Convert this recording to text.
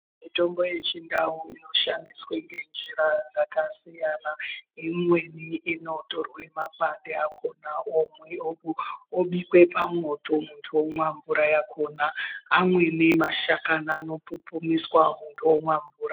Mitombo yechindau inoshandiswe ngenjira dzakasiyana imweni inotorwe makwande akhona obikwe pamoto muntu omwa mvura yakhona amweni mashakani anopupumiswa muntu omwa mvura.